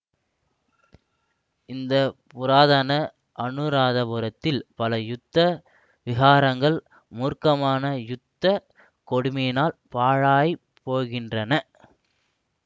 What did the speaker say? இந்த புராதன அநுராதபுரத்தில் பல யுத்த விஹாரங்கள் மூர்க்கமான யுத்த கொடுமையினால் பாழாய் போகின்றன